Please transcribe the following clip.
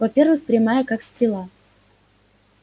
во-первых прямая как стрела